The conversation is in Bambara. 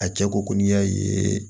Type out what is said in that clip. A cɛ ko ko n'i y'a ye